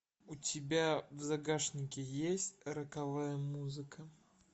у тебя в загашнике есть роковая музыка